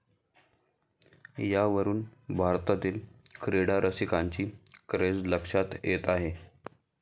यावरुन भारतातील क्रीडा रसिंकाची क्रेझ लक्षात येते आहे.